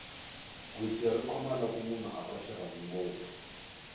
gwitsi ri khoma loko munhu a twa xirhami ngopfu